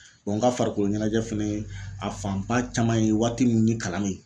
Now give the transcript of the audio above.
n ka farikoloɲɛnajɛ fɛnɛ ye a fanba caman ye waati min ni kalan mɛ ye.